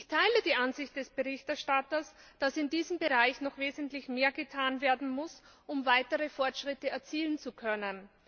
Ich teile die Ansicht des Berichterstatters, dass in diesem Bereich noch wesentlich mehr getan werden muss, um weitere Fortschritte erzielen zu können.